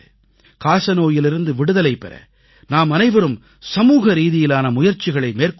காசநோயிலிருந்து விடுதலை பெற நாமனைவரும் சமூகரீதியிலான முயற்சிகளை மேற்கொள்ள வேண்டும்